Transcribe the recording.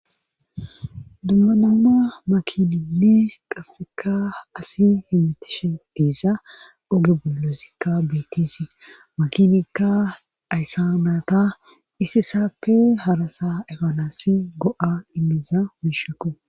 Dumma dumma makininne qasseka asi hemmitishe dees. Oge bollakka bettisi makinikka ayissa naata issisappe harasa efanasi go'a immiiza miishako.